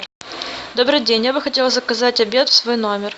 добрый день я бы хотела заказать обед в свой номер